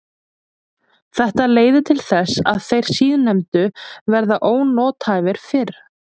Þetta leiðir til þess að þeir síðarnefndu verða ónothæfir fyrr.